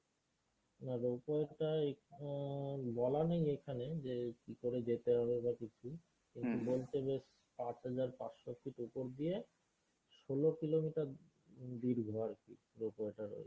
না rope way টা বলা নেই এখানে যে কী করে যেতে হবে বা বেশ পাঁচহাজার পাঁচশো feet উপর দিয়ে ষোল kilometer দীর্ঘ আরকি rope way টা রয়েছে।